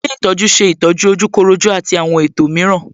Ilé ìtọ́jú ṣe ìtọ́jú ojúkorojú àti àwọn ètò mìíràn